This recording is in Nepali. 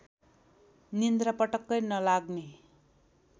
निद्रा पटक्कै नलाग्ने